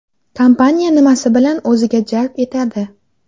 Kompaniya nimasi bilan o‘ziga jalb etadi?